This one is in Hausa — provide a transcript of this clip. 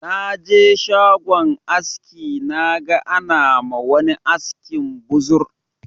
Na je shagon aski naga ana ma wani askin buzur